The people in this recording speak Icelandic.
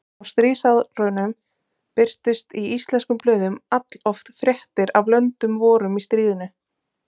Á stríðsárunum birtust í íslenskum blöðum alloft fréttir af löndum vorum í stríðinu.